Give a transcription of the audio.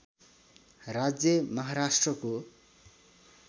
राज्य महाराष्ट्रको